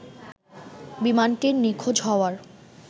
বিমানটির নিখোঁজ হওয়ার